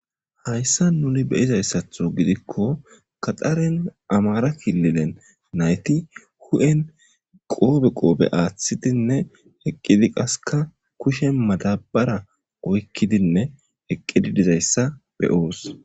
Hayssa nuni beyizayssatho gidikko gaxaren Amhara kililen nayti hu'en qoobe qoobe aaththidinne eqqidi qaseka kushe madabara oykkidinne eqqidi dizayssa beyoos.